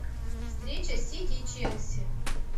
встреча сити и челси